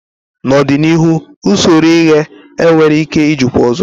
n'ọdịnihu usoro ighe enweghị ike ijikwa ọzọ.